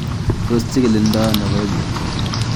Tos kichikildo ono koimutioni?